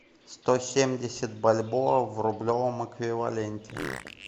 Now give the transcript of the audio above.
сто семьдесят бальбоа в рублевом эквиваленте